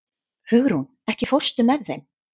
Hugrún, ekki fórstu með þeim?